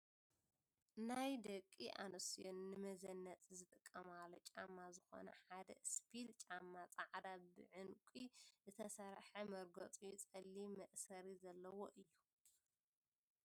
ናይ ደቂ ኣንስትዮ ንመዘነጢ ዝጥቀማሉ ጫማ ዝኮነ ሓደ እስፒል ጫማ ፃዕዳ ብ ዕንቂ ዝተሰርሐ መርገዚኡ ፀሊም ፣መእሰሪ ዘለዎ እዩ ።